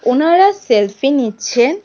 ওনারা সেলফি নিচ্ছেন।